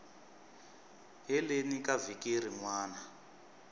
heleni ka vhiki rin wana